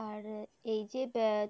আর এই যে